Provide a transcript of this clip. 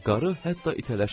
Qarı hətta itələşmirdi.